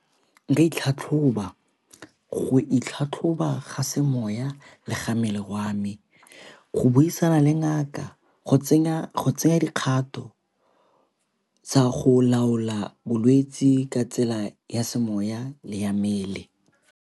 Di e tlhatlhoba, go itlhatlhoba ga semoya le ga mmele wa me, go buisana le ngaka go tseya dikgato tsa go laola bolwetsi ka tsela ya semoya le ya mmele.